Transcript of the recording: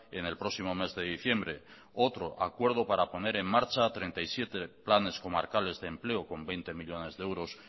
en el próximo mes de diciembre otro acuerdo para poner en marcha treinta y siete planes comarcales de empleo con veinte millónes de euros